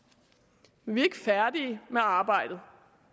men vi er ikke færdige med arbejdet